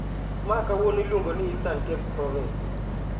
ma kawuono iluongo ni Eastern Cape province.